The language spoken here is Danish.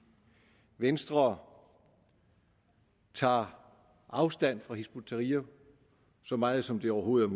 venstre tager afstand fra hizb ut tahrir så meget som det overhovedet